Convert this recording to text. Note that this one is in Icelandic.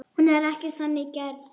Hún er ekki þannig gerð.